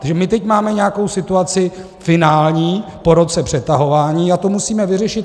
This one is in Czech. Takže my teď máme nějakou situaci finální po roce přetahování a tu musíme vyřešit.